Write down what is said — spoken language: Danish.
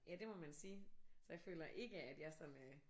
Ja det må man sige. Så jeg føler ikke at jeg sådan øh